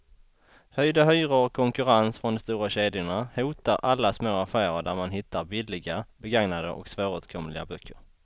Höjda hyror och konkurrens från de stora kedjorna hotar alla små affärer där man hittar billiga, begagnade och svåråtkomliga böcker.